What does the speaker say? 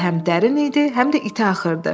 Çay həm dərin idi, həm də iti axırdı.